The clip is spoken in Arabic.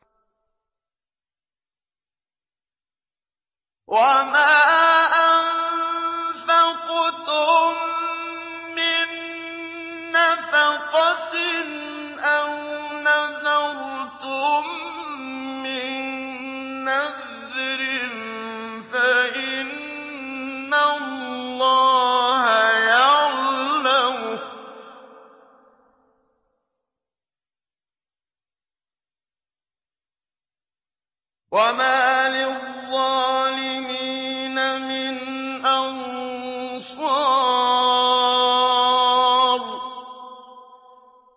وَمَا أَنفَقْتُم مِّن نَّفَقَةٍ أَوْ نَذَرْتُم مِّن نَّذْرٍ فَإِنَّ اللَّهَ يَعْلَمُهُ ۗ وَمَا لِلظَّالِمِينَ مِنْ أَنصَارٍ